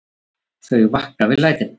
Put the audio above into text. Þau vakna við lætin.